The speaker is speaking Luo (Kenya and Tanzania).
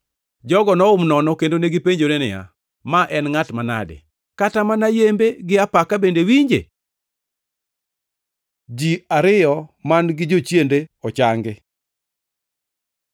Jogo nohum nono, kendo negipenjore niya, “Ma en ngʼat manade? Kata mana yembe gi apaka bende winje!” Ji ariyo man-gi jochiende ochangi